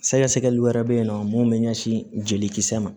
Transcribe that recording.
Sɛgɛsɛgɛliw wɛrɛ bɛ yen nɔ mun bɛ ɲɛsin jelikisɛ ma